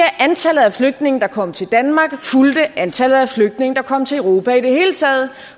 antallet af flygtninge der kom til danmark fulgte antallet af flygtninge der kom til europa i det hele taget